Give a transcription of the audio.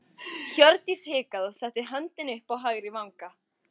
Hjördís hikaði og setti höndina upp að hægri vanga.